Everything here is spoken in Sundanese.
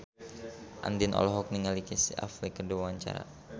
Andien olohok ningali Casey Affleck keur diwawancara